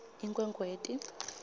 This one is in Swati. inkhwekhweti